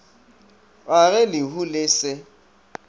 ga ge lehu le se